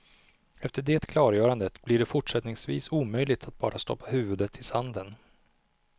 Efter det klargörandet blir det fortsättningsvis omöjligt att bara stoppa huvudet i sanden.